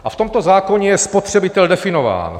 A v tomto zákoně je spotřebitel definován.